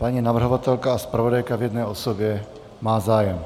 Paní navrhovatelka a zpravodajka v jedné osobě má zájem.